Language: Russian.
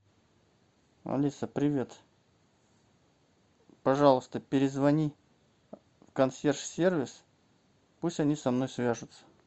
алиса привет пожалуйста перезвони в консьерж сервис пусть они со мной свяжутся